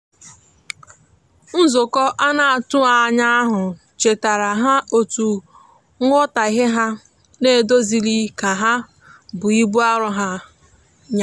nzukọ anatughi anya ahu chetara ha etu nwotaghe ha n'edozilighi ka bụ ibụ arọ ha nya